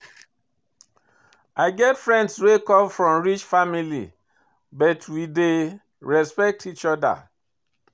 I get friends wey come from rich family but we dey respect each oda.